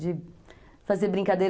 De fazer brincadeira.